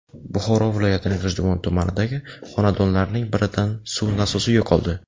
Buxoro viloyatining G‘ijduvon tumanidagi xonadonlarning biridan suv nasosi yo‘qoldi.